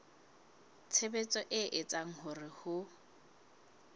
tshebetso e etsang hore ho